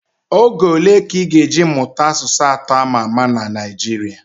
Oge ole ka ị ga eji mụta asụsụ atọ ama ama na Naijiria